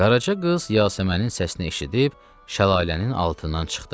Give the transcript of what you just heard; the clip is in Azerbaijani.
Qaraca qız Yasəmənin səsini eşidib şəlalənin altından çıxdı.